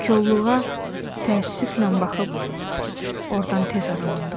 O kolluğa təəssüflə baxıb ordan tez aralandım.